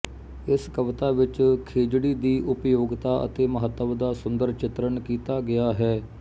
ਇਸ ਕਵਿਤਾ ਵਿੱਚ ਖੇਜੜੀ ਦੀ ਉਪਯੋਗਤਾ ਅਤੇ ਮਹੱਤਵ ਦਾ ਸੁੰਦਰ ਚਿਤਰਣ ਕੀਤਾ ਗਿਆ ਹੈ